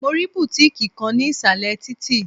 Mo rí bùtíkì kan ní ìsàlẹ̀ títì.